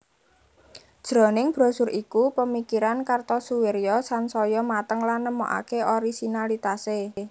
Jroning brosur iku pemikiran Kartosoewirjo sansaya mateng lan nemokake orisinalitase